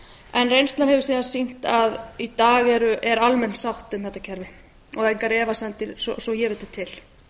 en reynslan hefur síðan sýnt að í dag er almenn sátt um þetta kerfi og engar efasemdir svo ég viti til